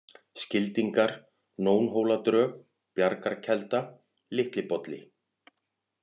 Skildingar, Nónhóladrög, Bjargarkelda, Litli-Bolli